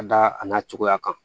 Ka da a n'a cogoya kan